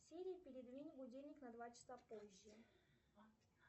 сири передвинь будильник на два часа позже